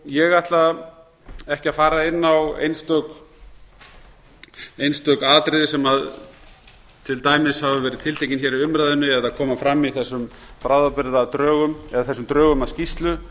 ég ætla ekki að fara inn á einstök atriði sem til dæmis hafa verið tiltekin hér í umræðunni eða koma fram í þessum bráðabirgðadrögum eða þessum drögum að skýrslu